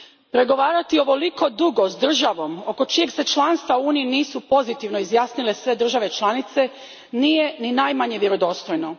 Pregovarati ovoliko dugo s državom oko čijeg se članstva u Uniji nisu pozitivno izjasnile sve države članice nije ni najmanje vjerodostojno.